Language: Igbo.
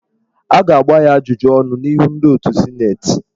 A ga-agba ya ajụjụ ọnụ n'ihu ndị otù sịnetị?